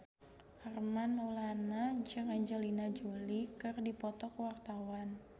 Armand Maulana jeung Angelina Jolie keur dipoto ku wartawan